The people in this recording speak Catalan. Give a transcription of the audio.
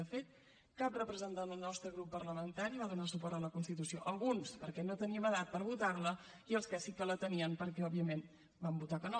de fet cap representant del nostre grup parlamentari va donar suport a la constitució alguns perquè no teníem edat per votar la i els que sí que la tenien perquè òbviament van votar que no